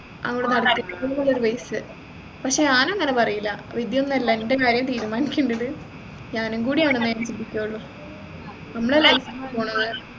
പക്ഷേ ഞാൻ അങ്ങനെ പറയില്ല വിഡിയൊന്നുമല്ല എൻെറ കാര്യം തീരുമാനിക്കേണ്ടത് ഞാനും കൂടിയാണ് എന്നെ ഞാൻ ചിന്തിച്ചുള്ളൂ നമ്മളെ life ആ മോളേ